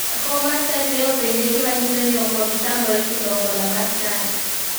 Jakom mar chadi ne openje gima nyiso ni ok obi tamore chulo hola mar chadi.